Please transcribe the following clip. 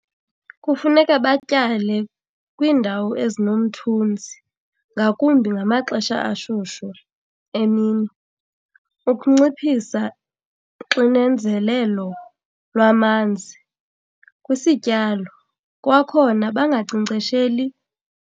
Kufuneka batyale kwiindawo ezinomthunzi ngakumbi ngamaxesha ashushu emini ukunciphisa uxinezelelo lwamanzi kwisityalo. Kwakhona bangankcenkcesheli.